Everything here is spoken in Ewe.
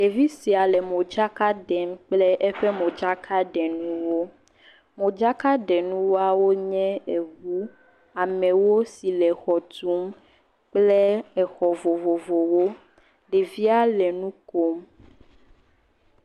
Ɖevi sia le modzaka ɖem kple eƒe modzaka ɖe nuwo. Modzakaɖenuawoe nye eŋu, amewo si le exɔ tum kple exɔ vovovowo. Ɖevia le nu kom.